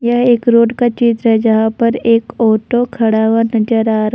यह एक रोड का चित्र है जहां पर एक ऑटो खड़ा हुआ नजर आ रहा--